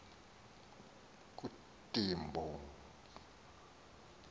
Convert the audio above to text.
kuntimbo